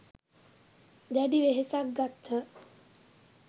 දැඩි වෙහෙසක් ගත්හ.